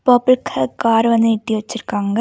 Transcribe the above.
Purple colour car வந்து நிறுத்தி வச்சுருக்காங்க.